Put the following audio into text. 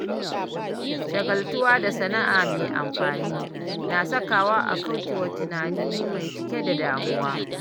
Shagaltuwa da sana’a mai amfani na sakawa a kauce wa tunani mai cike da damuwa.